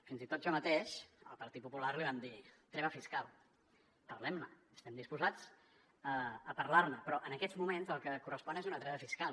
fins i tot jo mateix el partit popular li vam dir treva fiscal parlem ne estem disposats a parlar ne però en aquests moments el que correspon és una treva fiscal